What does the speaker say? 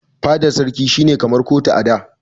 Fadan sarki shi ne kamar kotu a da.